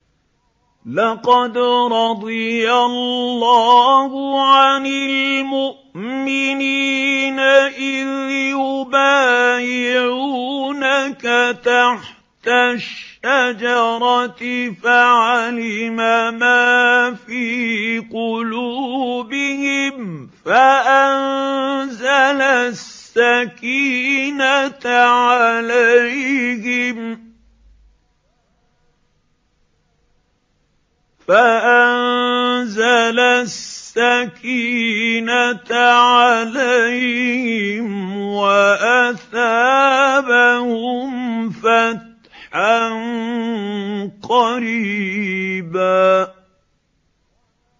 ۞ لَّقَدْ رَضِيَ اللَّهُ عَنِ الْمُؤْمِنِينَ إِذْ يُبَايِعُونَكَ تَحْتَ الشَّجَرَةِ فَعَلِمَ مَا فِي قُلُوبِهِمْ فَأَنزَلَ السَّكِينَةَ عَلَيْهِمْ وَأَثَابَهُمْ فَتْحًا قَرِيبًا